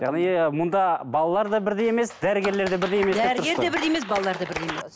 яғни мұнда балалар да бірдей емес дәрігерлер де бірдей емес деп тұрсыз ғой дәрігер де бірдей емес балалар да бірдей емес